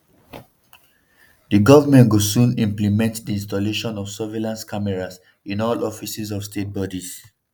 "di government go soon implement di installation of surveillance cameras in all offices of state bodies.